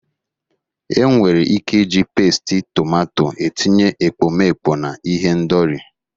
Enwere ike iji pesiti tomato etinye ekpomeekpo na ihendori.